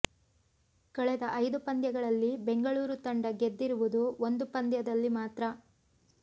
ಕಳೆದ ಐದು ಪಂದ್ಯಗಳಲ್ಲಿ ಬೆಂಗಳೂರು ತಂಡ ಗೆದ್ದಿರುವುದು ಒಂದು ಪಂದ್ಯದಲ್ಲಿ ಮಾತ್ರ